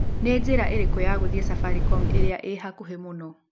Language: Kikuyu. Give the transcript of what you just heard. nĩ njĩra ĩriku ya gũthiĩ safaricom ĩrĩa ĩ hakuhi mũno